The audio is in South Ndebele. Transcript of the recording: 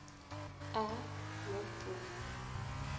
a no b